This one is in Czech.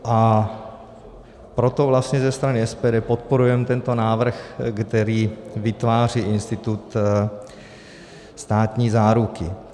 A proto vlastně ze strany SPD podporujeme tento návrh, který vytváří institut státní záruky.